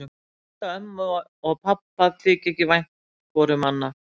Ég held að ömmu og pabba þyki ekki vænt hvoru um annað.